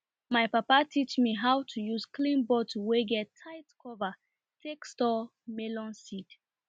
my papa teach me how to use clean bottle wey get tight cover take store melon seed